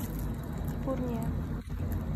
пурния